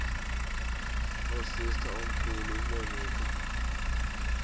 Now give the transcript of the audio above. nosister omkhulu umonica